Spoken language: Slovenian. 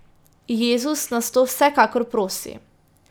Jezus nas to vsekakor prosi.